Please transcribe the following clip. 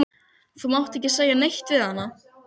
Það lýstist upp og um leið var talað til mín.